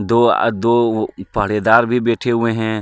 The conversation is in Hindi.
दो अ दो व पहरेदार भी बैठे हुए हैं.